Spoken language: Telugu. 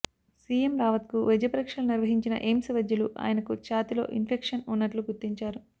సీఎం రావత్ కు వైద్య పరీక్షలు నిర్వహించిన ఎయిమ్స్ వైద్యులు ఆయనకు ఛాతీలో ఇన్ఫెక్షన్ ఉన్నట్లు గుర్తించారు